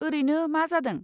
ओरैनो मा जादों?